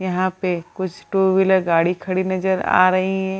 यहाँ पे कुछ टू व्हीलर गाड़ी खड़ी नजर आ रही है।